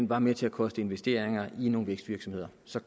var med til at koste investeringer i nogle vækstvirksomheder så